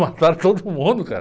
Mataram todo mundo, cara.